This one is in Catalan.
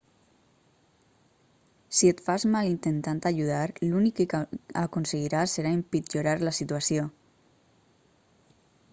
si et fas mal intentant ajudar l'únic que aconseguiràs serà empitjorar la situació